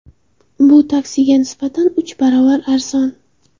Bu taksiga nisbatan uch barobar arzon.